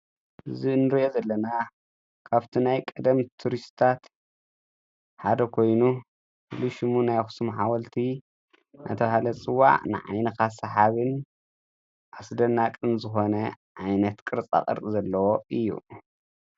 እዚ ንሪኦ ዘለና ካብቲ ናይ ቀደም ቱሪስትታት ሓደ ኮይኑ ሽሙ ናይ ኣኽሱም ሓወልቲ እንዳተባህለ ዝፅዋዕ ንዓይንኻ ሰሓብን ኣስደናቕን ዝኾነ ዓይነት ቅርፃ ቅርፂ ዘለዎ እዩ፡፡